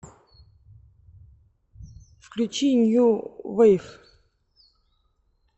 включи нью вейв